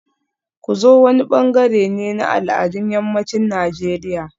Ku zo wani bangare ne na al'adun yammacin Najeriya